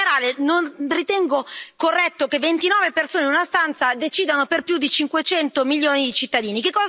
In generale non ritengo corretto che ventinove persone in una stanza decidano per più di 500 milioni di cittadini.